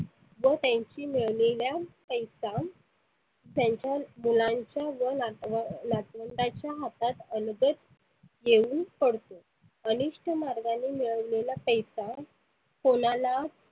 जो त्यांच्या मिळनीतला पैसा त्यांच्या मुलांच्या व नातवा नातवंडाच्या हातात अलगद येऊन पडतो. अनिष्ठ मार्गाने मिळवलेला पैसा कोणाला